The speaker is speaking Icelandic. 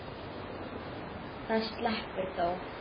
Það sleppur þó.